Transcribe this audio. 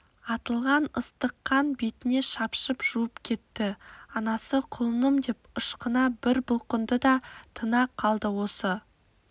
атылған ыстық қан бетіне шапшып жуып кетті анасы құлынымдеп ышқына бір бұлқынды да тына қалды осы